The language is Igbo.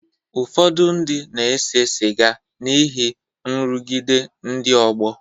Ụfọdụ ndị na-ese sịga n’ihi nrụgide ndị ọgbọ.